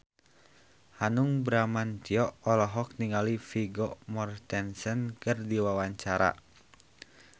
Hanung Bramantyo olohok ningali Vigo Mortensen keur diwawancara